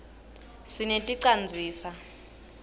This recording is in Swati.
sineti canzisa